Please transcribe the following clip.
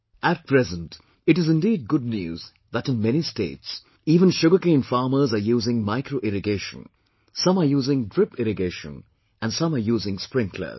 At present, it is indeed good news that in many states, even sugarcane farmers are using micro irrigation, some are using drip irrigation and some are using sprinklers